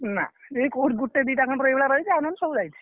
ନା ଏଇ କୋଉଠି ଗୋଟେ ଦିଟା ଭଳିଆ ରହିଛି ଆଉ ନହେଲେ ସବୁ ଯାଇଛି।